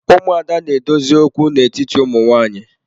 Ụmụada na-edozi okwu n'etiti ụmụ nwanyị.